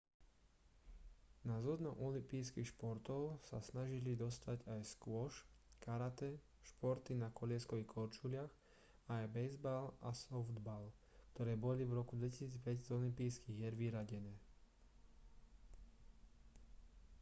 na zoznam olympijských športov sa snažili dostať aj squash karate športy na kolieskových korčuliach a aj bejzbal a softball ktoré boli v roku 2005 z olympijských hier vyradené